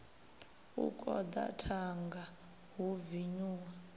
u koḓa thanga hu vinyuwa